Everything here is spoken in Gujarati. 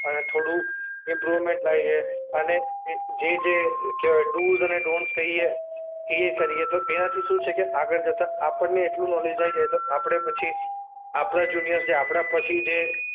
અને થોડું ઈમ્પ્રુવમેન્ટ લાવીએ. અને એ જે જે કહેવાય ડૂઝ અને ડોનટ્સ કહીએ એ કરીએ. તો એનાથી શું છે કે આગળ જતા આપણને એટલું નોલેજ આવી જાય તો આપણે પછી આપણા જુનિયર્સ જે આપણા પછી જે